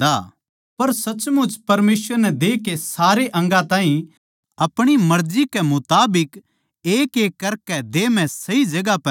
पर सचमुच परमेसवर नै देह के सारे अंगा ताहीं अपणी मर्जी कै मुताबिक एकएक करकै देह म्ह सही जगहां पै राख्या सै